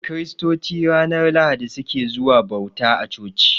Kiristoci ranar Lahadi su ke zuwa bauta a coci.